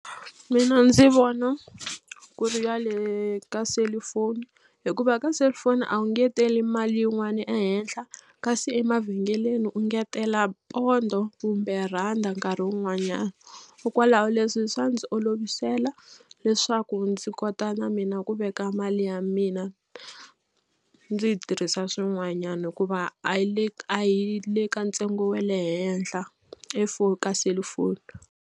Mina ndzi vona ku ri ya le ka selufoni hikuva ka cellphone a wu ngeteli mali yin'wani ehenhla kasi emavhengeleni u ngetela pondho kumbe randa nkarhi wun'wanyana. Leswi swa ndzi olovisela leswaku ndzi kota na mina ku veka mali ya mina ndzi yi tirhisa swin'wanyana hikuva a yi le ka yi le ka ntsengo wa le henhla e ka cellphone.